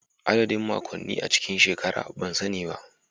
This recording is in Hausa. Adadin makonni a cikin shekara ban sani ba